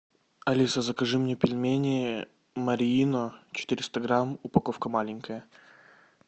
алиса закажи мне пельмени марьино четыреста грамм упаковка маленькая